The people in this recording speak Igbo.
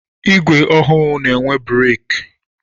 Igwe ọhụụ n'enwe breki.